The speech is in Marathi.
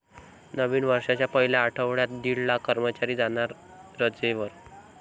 नवीन वर्षाच्या पहिल्या आठवड्यात दीड लाख कर्मचारी जाणार रजेवर!